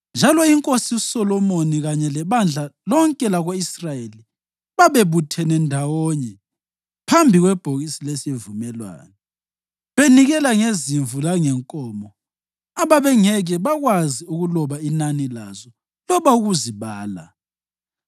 njalo inkosi uSolomoni kanye lebandla lonke lako-Israyeli babebuthene ndawonye phambi kwebhokisi lesivumelwano, benikela ngezimvu langenkomo ababengeke bakwazi ukuloba inani lazo loba ukuzibala.